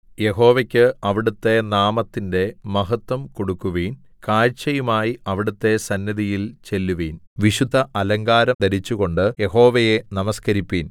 യഹോവയ്ക്ക് അവിടുത്തെ നാമത്തിന്റെ മഹത്വം കൊടുക്കുവിൻ കാഴ്ചയുമായി അവിടുത്തെ സന്നിധിയിൽ ചെല്ലുവിൻ വിശുദ്ധഅലങ്കാരം ധരിച്ചുകൊണ്ടു യഹോവയെ നമസ്കരിപ്പിൻ